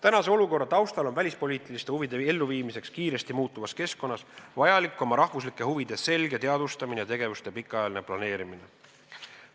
Valitseva olukorra taustal on välispoliitiliste huvide elluviimiseks kiiresti muutuvas keskkonnas vajalik oma rahvuslike huvide selge teadvustamine ja tegevuste pikaajaline planeerimine.